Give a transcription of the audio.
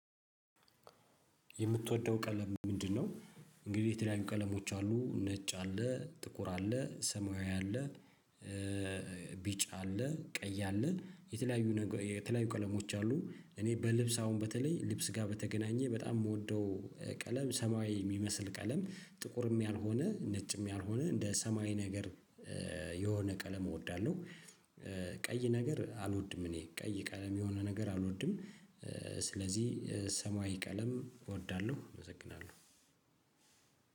የምትወደው ቀለም ምንድነው? እንግዲህ የተለያዩ ቀለሞች አሉ ነጭ አለ ጥቁር አለ ሰማያዊ አለ። ቢጭ አለ ቀይ አለ የተለያዩ ነገር የተለያዩ ቀለሞች አሉ። እኔ በልብስ አሁን በተለይ ልብስ ጋር በተገናኘ በጣም ምወደው ቀለም ሰማያዊ የሚመስል ቀለም ጥቁርም ያልሆነ ነጭም ያልሆነ እንደ ሰማይ ነገር የሆነ ቀለም እወዳለሁ። ቀይ ነገር አልወድም እኔ ቀይ ቀለም የሆነ ነገር አልወድም። ስለዚህ ሰማያዊ ቀለም እወዳለሁ እመሰግናለሁ።